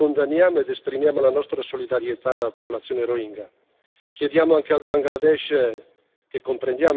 Per questo è grave il comportamento delle autorità birmane lo condanniamo ed esprimiamo la nostra solidarietà alla popolazione rohingya.